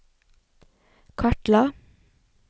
kartla